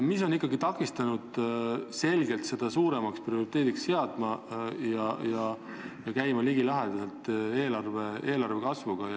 Mis on ikkagi takistanud selle selgelt suuremaks prioriteediks seadmist, et see oleks ligilähedane eelarve kasvuga?